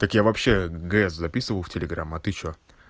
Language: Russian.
так я вообще г с записываю в телеграмм а ты что